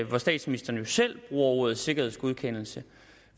hvor statsministeren jo selv ordet sikkerhedsgodkendelse